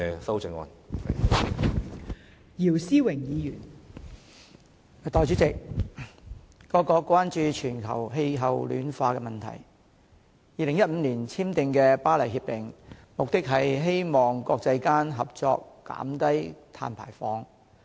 代理主席，各國關注全球氣候暖化問題 ，2015 年簽訂的《巴黎協定》，目的是希望國際間合作減低碳排放。